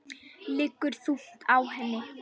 Liggur þungt á henni.